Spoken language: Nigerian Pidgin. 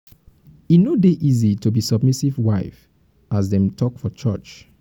e no dey easy to be submissive wife as dem take talk for church. talk for church.